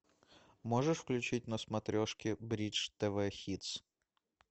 можешь включить на смотрешке бридж тв хитс